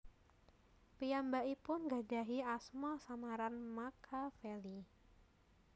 Piyambakipun nggadahi asma samaran Makaveli